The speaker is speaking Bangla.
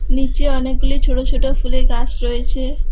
নিচে অনেকগুলি ছোট ছোট ফুলের গাছ রয়েছে।